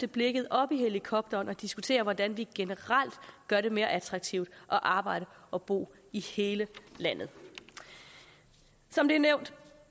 blikket op i helikopterperspektiv hvordan vi generelt gør det mere attraktivt at arbejde og bo i hele landet som det er nævnt